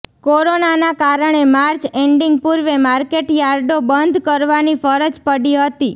કોરોનાના કારણે March ending પૂર્વે માર્કેટ યાર્ડો બંધ કરવાની ફરજ પડી હતી